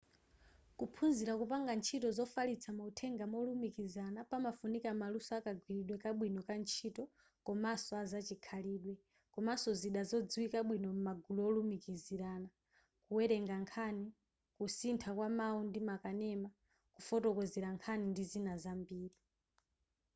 kuphunzira kupanga ntchito zofalitsa mauthenga molumizikana pamafunika maluso akagwiridwe kabwino ka ntchito komanso a zachikhalidwe komanso zida zodziwika bwino m'magulu olumikizirana kuwerengera nkhani kusintha kwamawu ndi makanema kufotokozera nkhani ndi zina zambiri